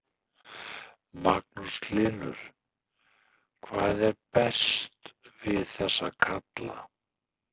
Magnús Hlynur: Hvað er best við þessa kalla?